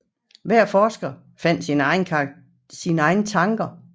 Hver forsker fandt sine egne tanker i Jesus